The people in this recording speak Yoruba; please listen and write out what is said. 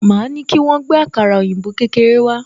Máa ní kí wọ́n gbé àkàrà òyìnbó kékèké wá